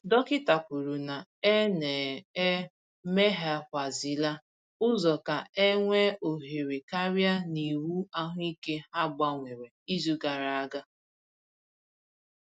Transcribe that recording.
Dọkịta kwuru na e na e meghekwàzịla ụzọ ka e nwee ohere karịa n’iwu ahụike ha gbanwere izu gara aga